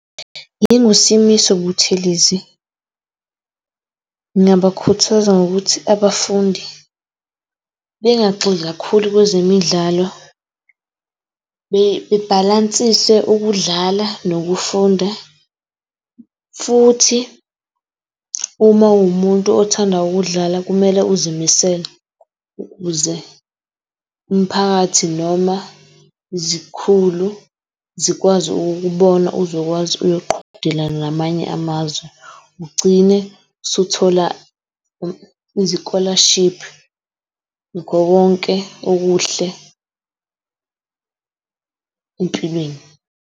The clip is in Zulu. Ngingu Simiso Butheleli ngingabakhuthaza ngokuthi abafundi bengagxili kakhulu kwezemidlalo bebhalansise ukudlala nokufunda, futhi uma uwumuntu othanda ukudlala kumele uzimisele ukuze umphakathi noma izikhulu zikwazi ukukubona. Uzokwazi uyoqhudelana namanye amazwe ugcine usuthola izi-scholarship, nakho konke okuhle empilweni.